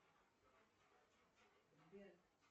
сбер